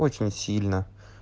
очень сильно